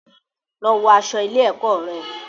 Lọ wọ aṣọ ilé-ẹ̀kọ́ rẹ.